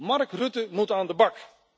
Mark Rutte moet aan de bak.